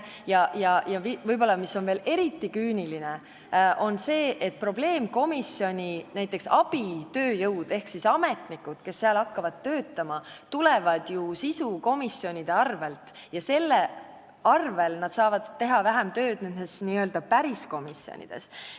Ja mis on võib-olla veel eriti küüniline, probleemkomisjoni abitööjõud ehk ametnikud, kes hakkavad seal töötama, tulevad ju sisukomisjonidest ja selle arvel saavad nad nüüd teha vähem tööd n-ö päris komisjonides.